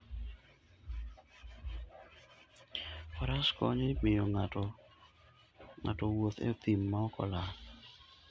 Faras konyo e miyo ng'ato owuoth e thim maok olal.